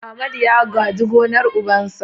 Amadu ya gaji gonar ubansa.